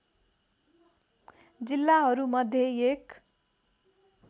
जिल्लाहरू मध्ये एक